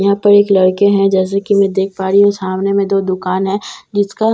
यहाँ पे एक लड़के हैं जैसे की मैं देख पा रही हूँ सामने में दो दुकान है जिसका दर --